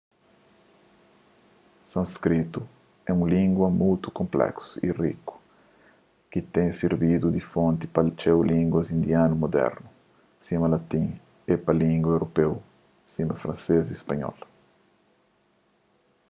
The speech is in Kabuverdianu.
sânskritu é un língua mutu konpléksu y riku ki ten sirbidu di fonti pa txeu línguas indianu mudernu sima latin é pa língua europeu sima fransês y spanhol